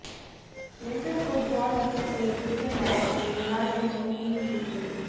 leisure football league کے دوسرے match میں رونالڈینو ٹیم کی جیت